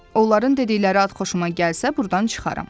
Onların dedikləri ad xoşuma gəlsə, burdan çıxaram.